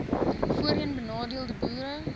voorheen benadeelde boere